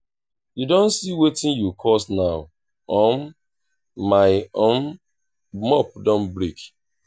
you don see wetin you cause now um my um mop don break